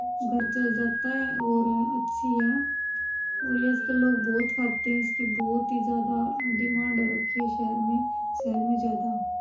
घर चल जाता है और अच्छी है और ये आजकल लोग बहुत खाते है इसकी बहुत ही ज्यादा डिमांड हो रखी है शहर में शहर में ज्यादा --